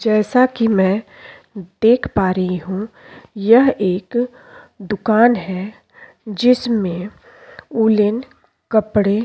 जैसा की मैं देख पा रही हूँ यह एक दुकान है जिसमे वुलेन कपड़े --